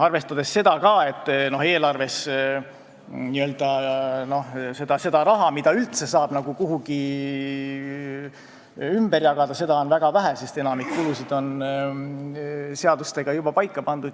Arvestada tuleb ka seda, et eelarves on seda raha, mida üldse saab ümber jagada, väga vähe, sest enamik kulusid on seadustega juba paika pandud.